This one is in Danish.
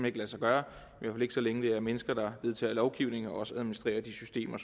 ikke lade sig gøre i hvert fald ikke så længe det er mennesker der vedtager lovgivning og også administrerer de systemer